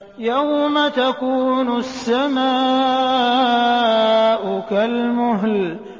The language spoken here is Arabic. يَوْمَ تَكُونُ السَّمَاءُ كَالْمُهْلِ